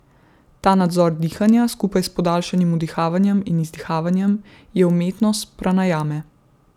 Ta nadzor dihanja skupaj s podaljšanim vdihavanjem in izdihavanjem je umetnost pranajame.